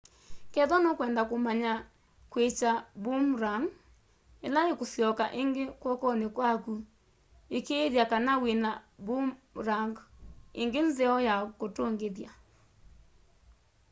kethwa nũkwenda kũmanya kwĩkya boomerang ĩla ĩkũsyoka ĩngĩ kw'okonĩ kwakũ ĩkĩĩthya kana wĩna boomerang ĩngĩ nzeo ya kũtũngĩthya